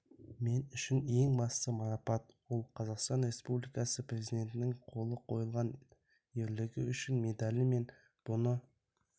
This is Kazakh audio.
мен үшін ең басты марапат ол қазақстан республикасы президентінің қолы қойылған ерлігі үшін медалі мен бұны